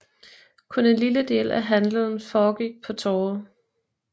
Kun en lille del af handelen foregik på Torvet